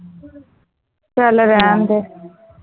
ਚਲ ਰਹਿੰਦੇ